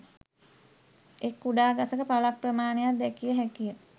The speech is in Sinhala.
එක් කුඩා ගසක පල ක් ප්‍රමාණයක් දැකිය හැකිය